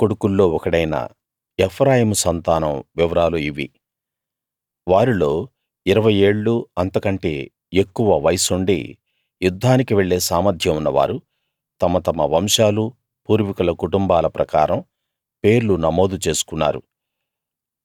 యోసేపు కొడుకుల్లో ఒకడైన ఎఫ్రాయిము సంతానం వివరాలు ఇవి వారిలో ఇరవై ఏళ్ళూ అంతకంటే ఎక్కువ వయస్సుండి యుద్ధానికి వెళ్ళే సామర్థ్యం ఉన్నవారు తమ తమ వంశాలూ పూర్వీకుల కుటుంబాల ప్రకారం పేర్లు నమోదు చేసుకున్నారు